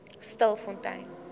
stilfontein